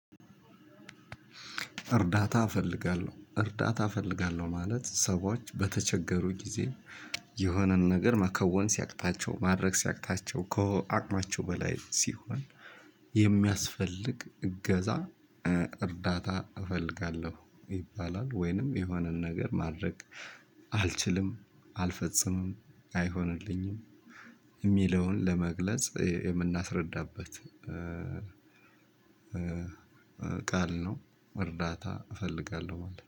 እርዳታ እፈልጋለሁ እርዳታ እፈልጋለሁ ማለት ሰዎች በተቸገሩ ጊዜ የሆነን ነገር መከወን ሲያቅታቸው ማድረግ ሲያቅታቸው ከአቅማቸው በላይ ሲሆን የሚያስፈልግ እገዛ እርዳታ እፈልጋለሁ ይባላል። ወይንም የሆነን ነገር ማድረግ አልችልም አልፈጽምም አይሆንልኝም እምሚውን ለመግለጽ የምናስረዳበት ቃል ነው። እርዳታ እፈልጋለሁ ማለት ነው